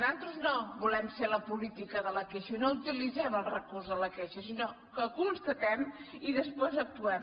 nosaltres no volem ser la política de la queixa no utilitzem els recurs de la queixa sinó que constatem i després actuem